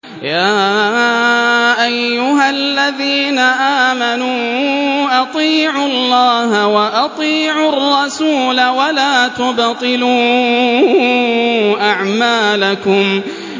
۞ يَا أَيُّهَا الَّذِينَ آمَنُوا أَطِيعُوا اللَّهَ وَأَطِيعُوا الرَّسُولَ وَلَا تُبْطِلُوا أَعْمَالَكُمْ